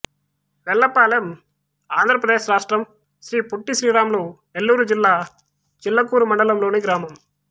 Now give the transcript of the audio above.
వెల్లపాలెం ఆంధ్ర ప్రదేశ్ రాష్ట్రం శ్రీ పొట్టి శ్రీరాములు నెల్లూరు జిల్లా చిల్లకూరు మండలం లోని గ్రామం